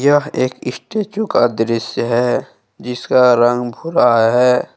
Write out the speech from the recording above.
एक स्टेचू का दृश्य है जिसका रंग भूरा है।